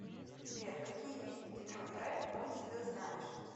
сбер какие виды детройт рэд уинз ты знаешь